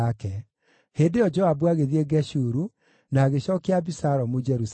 Hĩndĩ ĩyo Joabu agĩthiĩ Geshuru, na agĩcookia Abisalomu Jerusalemu.